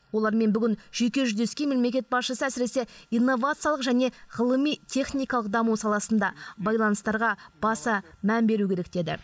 олармен бүгін жеке жүздескен мемлекет басшысы әсіресе инновациялық және ғылыми техникалық даму саласында байланыстарға баса мән беру керек деді